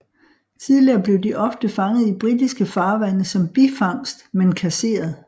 Tidligere blev de ofte fanget i britiske farvande som bifangst men kasseret